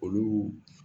Olu